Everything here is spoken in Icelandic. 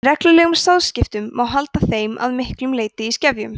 með reglulegum sáðskiptum má halda þeim að miklu leyti í skefjum